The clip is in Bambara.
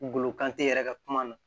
Golo kan te yɛrɛ ka kuma na